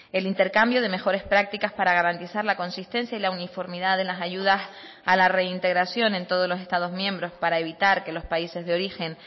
el intercambio de mejores prácticas para garantizar la consistencia y la uniformidad de las ayudas a la reintegración en todos los estados miembros para evitar que los países de origen